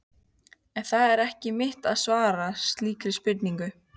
En það er ekki mitt að svara slíkri spurningu.